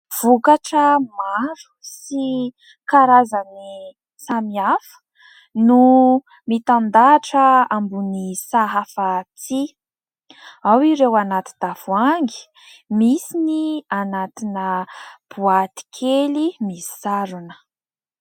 Vokatra maro sy karazany samihafa no mitandahatra ambony sahafa tsihy ; ao ireo anaty tavoahangy, misy ny anatina boaty kely misarona.